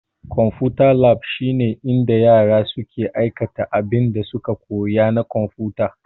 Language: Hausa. Konfuta lab shine inda yara suke aikata abinda suka koya na konfuta.